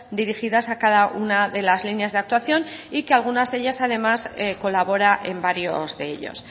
dirigidas a cada una de las líneas de actuación y que alguna de ellas además colabora en varios de ellos